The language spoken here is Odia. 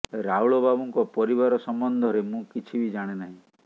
ରାଉଳ ବାବୁଙ୍କ ପରିବାର ସମ୍ବନ୍ଧରେ ମୁଁ କିଛିବି ଜାଣେ ନାହିଁ